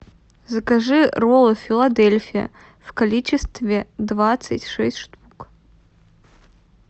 закажи роллы филадельфия в количестве двадцать шесть штук